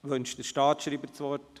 Wünscht der Staatsschreiber das Wort?